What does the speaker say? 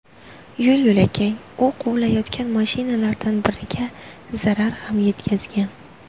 Yo‘l-yo‘lakay, u quvlayotgan mashinalardan biriga zarar ham yetkazgan.